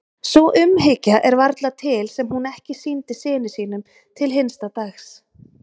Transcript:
Sú umhyggja er varla til sem hún ekki sýndi syni sínum til hinsta dags.